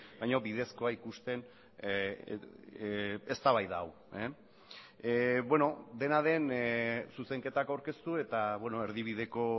baino bidezkoa ikusten eztabaida hau beno dena den zuzenketak aurkeztu eta erdibideko